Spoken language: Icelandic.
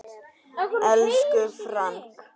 Elsku Frank.